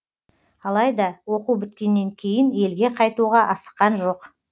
алайда оқу біткеннен кейін елге қайтуға асыққан жоқ